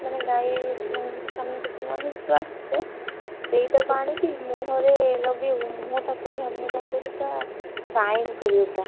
ମାନେ ଗାଈ ମାନେ ଦୁଆଁ ହେଇକି ଯୋଉ ଆସେ, ସେଇଟାକୁ ଆଣିକି ମୁହଁରେ ଲଗେଇବୁ ମୁହଁଟା ବଢିଆ ମାନେ କଣ କହିଲୁ ପୁରା shine କରିବ ପୁରା।